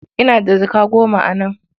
Ina da jaka goma a nan.